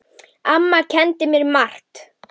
Amma kenndi mér margt.